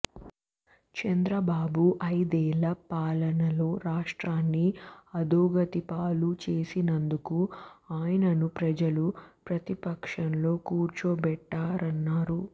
చంద్రబాబు ఐదేళ్ల పాలనలో రాష్ట్రాన్ని అధోగతిపాలు చేసినందుకు ఆయన్ను ప్రజలు ప్రతిపక్షంలో కూర్చోబెట్టారన్నారు